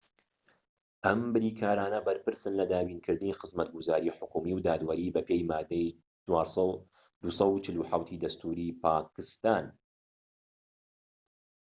ئەم بریکارانە بەرپرسن لە دابینکردنی خزمەتگوزاری حکومی و دادوەری بە پێی مادەی 247ی دەستوری پاکستان‎